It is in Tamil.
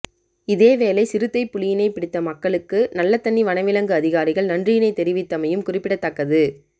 இதேவேளை சிறுத்தை புலியினை பிடித்த மக்களுக்கு நல்லதன்னி வனவிலங்கு அதிகாரிகள் நன்றியினை தெரிவித்தமையும் குறிப்பிடதக்கது